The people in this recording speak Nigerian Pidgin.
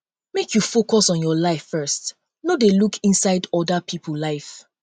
make you focus on your life first no dey look inside oda pipo um life